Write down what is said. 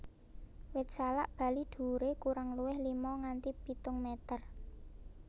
Wit salak Bali dhuwuré kurang luwih lima nganti pitung meter